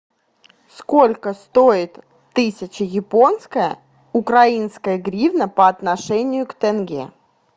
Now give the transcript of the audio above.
сколько стоит тысяча японская украинская гривна по отношению к тенге